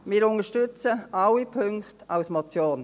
Wir unterstützen alle Punkte als Motion.